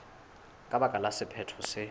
ka baka la sephetho se